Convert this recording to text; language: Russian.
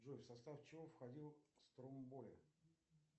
джой в состав чего входил стромбой